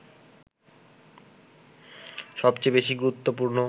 সবচেয়ে বেশি গুরুত্বপূর্ণ